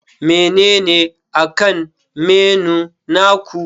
Menene akan menu naku?